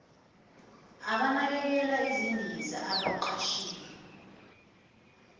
abanakekela izindiza abaqashiwe